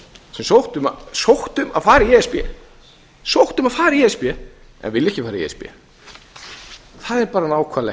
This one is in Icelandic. sem sóttu um að fara í e s b en vilja ekki fara í e s b það er bara nákvæmlega